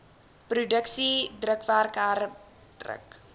produksie drukwerk herdruk